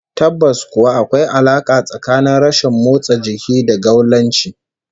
Tabbas kuwa, akwai alaka tsakanin rashin motsa jiki da gaulanci